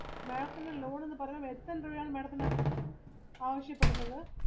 madam ത്തിന് loan എന്ന് പറഞ്ഞാൽ എത്രെ രൂപയാണ് madam ത്തിന് ആവശ്യപ്പെടുന്നത്?